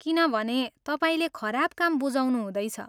किनभने तपाईँले खराब काम बुझाउनु हुँदैछ।